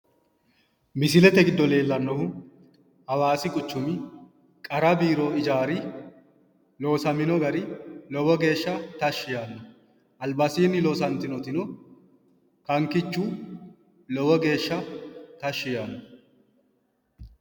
Misilete giddo leellannohu hawaasi quchumi qara biiro ijaari loosamino gari lowo geeshsha tashshi yaanno albasiinni loosantinotino kankichu lowo geeshsha tashshi yaanno.